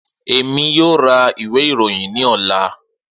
Emi yoo ra iwe iroyin ni ọla.